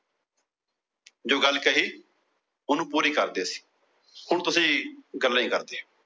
ਜੋ ਗੱਲ ਕਹੀ ਉਹਨੂੰ ਪੂਰੀ ਕਰਦੇ ਸਨ। ਹੁਣ ਤੁਸੀਂ ਗੱਲਾਂ ਏ ਕਰਦੇ ਓ।